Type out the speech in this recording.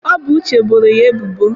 Ọ bụ Uche boro ya ebubo.